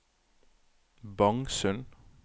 Bangsund